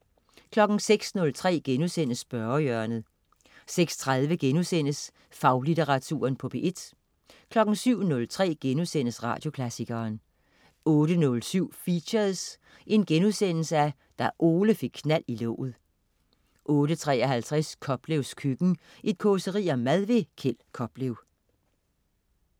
06.03 Spørgehjørnet* 06.30 Faglitteratur på P1* 07.03 Radioklassikeren* 08.07 Features: Da Ole fik knald i låget* 08.53 Koplevs køkken. Et causeri om mad. Kjeld Koplev